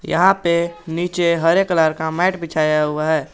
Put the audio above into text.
यहां पे नीचे हरे कलर का मैट बिछाया हुआ है।